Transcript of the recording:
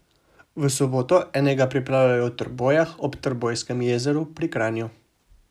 V soboto enega pripravljajo v Trbojah ob Trbojskem jezeru pri Kranju.